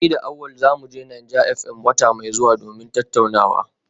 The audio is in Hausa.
Ni da Awal za mu je Naija FM wata mai zuwa domin tattaunawa